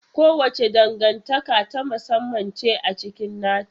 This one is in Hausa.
Kowace dangantaka ta musamman ce a cikin nata.